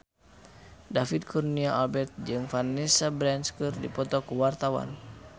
David Kurnia Albert jeung Vanessa Branch keur dipoto ku wartawan